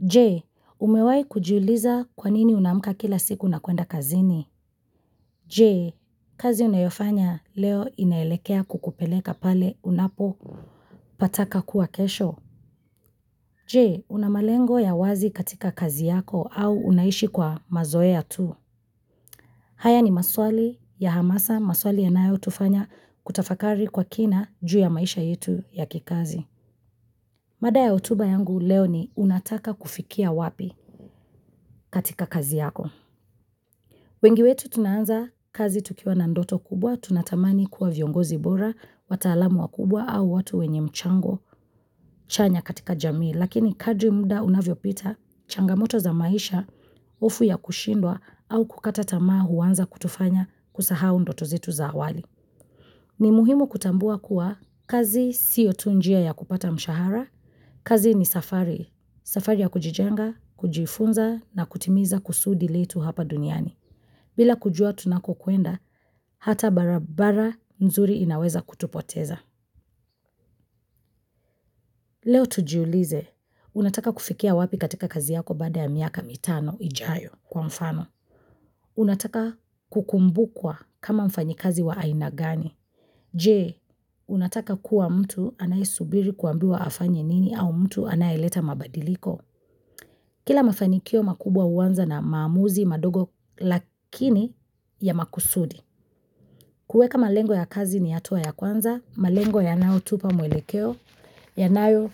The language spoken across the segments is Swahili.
Je, umewai kujiuliza kwa nini unaamka kila siku na kuenda kazini? Je, kazi unayofanya leo inaelekea kukupeleka pale unapo pataka kuwa kesho? Je, una malengo ya wazi katika kazi yako au unaishi kwa mazoeya tu. Haya ni maswali ya hamasa, maswali yanayotufanya kutafakari kwa kina juu ya maisha yetu ya kikazi. Mada ya hotuba yangu leo ni unataka kufikia wapi katika kazi yako. Wengi wetu tunaanza kazi tukiwa na ndoto kubwa, tunatamani kuwa viongozi bora, wataalamu wakubwa au watu wenye mchango chanya katika jamii. Lakini kadri muda unavyo pita, changamoto za maisha, hofu ya kushindwa au kukata tamaa huanza kutufanya kusahau ndoto zetu za awali. Ni muhimu kutambua kuwa kazi siyo tu njia ya kupata mshahara, kazi ni safari, safari ya kujijenga, kujifunza na kutimiza kusudi letu hapa duniani. Bila kujua tunako kwenda, hata barabara nzuri inaweza kutupoteza. Leo tujiulize, unataka kufikia wapi katika kazi yako baada ya miaka mitano ijayo kwa mfano. Unataka kukumbukwa kama mfanyi kazi wa aina gani. Je, unataka kuwa mtu anayesubiri kuambiwa afanye nini au mtu anayeleta mabadiliko. Kila mafanikio makubwa huanza na maamuzi madogo lakini ya makusudi. Kueka malengo ya kazi ni hatua ya kwanza, malengo yanayo tupa mwelekeo, yanayo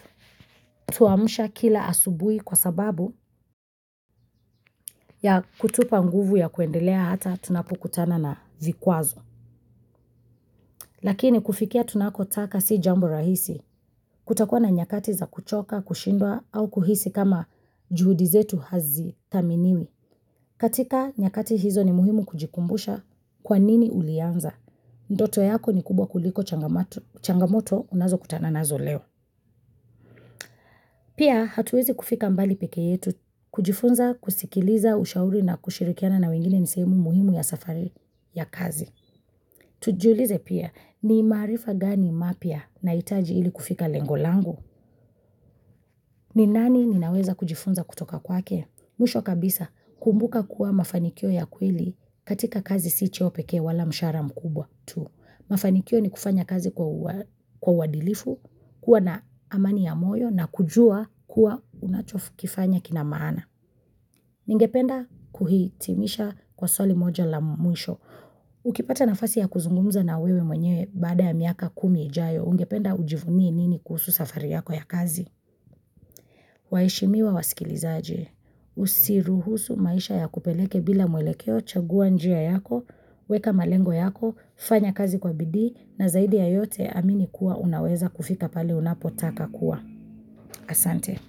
tuamsha kila asubui kwa sababu ya kutupa nguvu ya kuendelea hata tunapokutana na vikwazo. Lakini kufikia tunako taka si jambo rahisi, kutakuwa na nyakati za kuchoka, kushindwa au kuhisi kama juhudi zetu hazi thaminiwi. Katika nyakati hizo ni muhimu kujikumbusha kwa nini ulianza. Ndoto yako ni kubwa kuliko changamoto unazo kutananazo leo. Pia hatuwezi kufika mbali peke yetu kujifunza kusikiliza ushauri na kushirikiana na wengine nisehemu muhimu ya safari ya kazi. Tujulize pia ni marifa gani mapya nahitaji ili kufika lengo langu. Ni nani ninaweza kujifunza kutoka kwake? Mwisho kabisa kumbuka kuwa mafanikio ya kweli katika kazi si cheo pekee wala mshahara mkubwa tu. Mafanikio ni kufanya kazi kwa uadilifu, kuwa na amani ya moyo na kujua kuwa unachokifanya kinamaana. Ningependa kuhitimisha kwa swali moja la mwisho. Ukipata nafasi ya kuzungumza na wewe mwenye baada ya miaka kumi ijayo, ungependa ujivunie nini kuhusu safari yako ya kazi. Waheshimiwa wasikilizaje, Usiruhusu maisha ya kupeleke bila mwelekeo Chagua njia yako Weka malengo yako fanya kazi kwa bidii. Na zaidi ya yote amini kuwa unaweza kufika pale unapotaka kuwa. Asante.